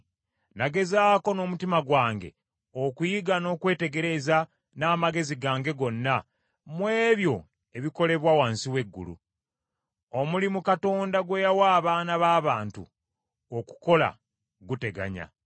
Nagezaako n’omutima gwange okuyiga n’okwetegereza n’amagezi gange gonna mu ebyo ebikolebwa wansi w’eggulu; omulimu Katonda gwe yawa abaana b’abantu okukola, guteganya.